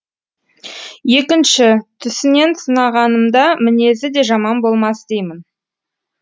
екінші түсінен сынағанымда мінезі де жаман болмас деймін